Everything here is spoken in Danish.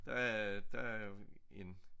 Der er der er en